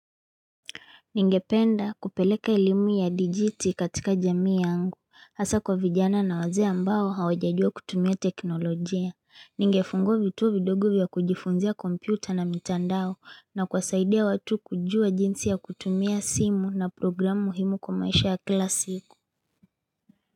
Ningependa kupeleka elimu ya dijiti katika jamii yangu, hasa kwa vijana na wazee mbao hawajajua kutumia teknolojia. Ningefungua vituo vidogovvya kujifunzia kompyuta na mitandao na kuwasaidia watu kujua jinsi ya kutumia simu na programu muhimu kwa maisha ya kila siku.